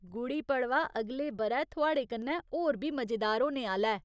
गुड़ी पड़वा अगले ब'रै थुआढ़े कन्नै होर बी मजेदार होने आह्‌ला ऐ !